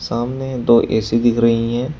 सामने दो ए_सी दिख रही है।